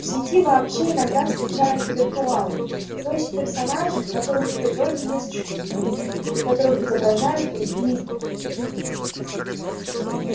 в сети вообще иногда встречаются виртуалы то есть персонажи которых в природе не существует и которых изображают другие люди